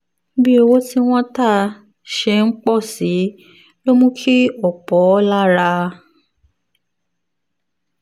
bí owó tí wọ́n ń tà ṣe ń pọ̀ sí i ló mú kí ọ̀pọ̀ lára